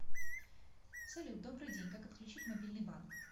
салют добрый день как отключить мобильный банк